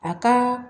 A ka